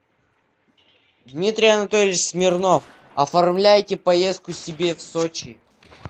дмитрий анатольевич смирнов оформляйте поездку себе в сочи